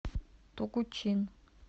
тогучин